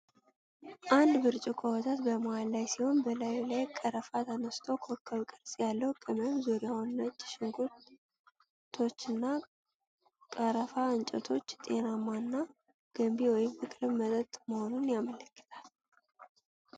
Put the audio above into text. አንድ ብርጭቆ ወተት በመሃል ላይ ሲሆን፣ በላዩ ላይ ቀረፋ ተነስንሶ ኮከብ-ቅርፅ ያለው ቅመም፣ ዙሪያውን ነጭ ሽንኩርቶች እና ቀረፋ እንጨቶች ጤናማ እና ገንቢ (ፍቅርን) መጠጥ መሆኑን ያመለክታሉ።